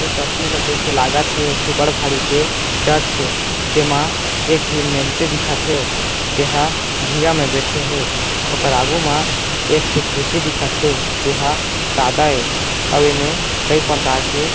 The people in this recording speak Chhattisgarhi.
ये तस्वार ला देख के लागत हे एक ठे किबड़ भारी के चर्च थे जेमा एक जिन मेंस दिखत हे जेहा बिहा मे बैठे हे ओकर आगू मा एक ठे खुर्सी दिखत हे जे हा सादा हे अउ ए मे कई प्रकार के --